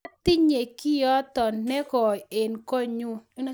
atinye kioti ne koi eng konyu